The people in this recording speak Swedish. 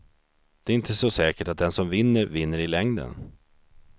Det är inte så säkert att den som vinner, vinner i längden.